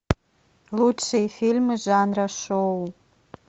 лучшие фильмы жанра шоу